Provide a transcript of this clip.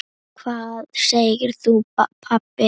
Hvað segir þú pabbi?